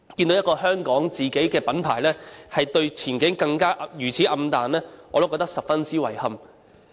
一個香港的自家的品牌，對前景也如此暗淡，我實在感到十分遺憾。